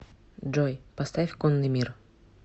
джой поставь конный мир